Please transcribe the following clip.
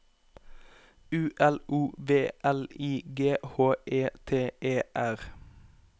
U L O V L I G H E T E R